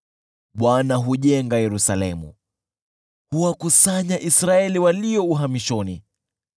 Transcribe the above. Bwana hujenga Yerusalemu, huwakusanya Israeli walio uhamishoni.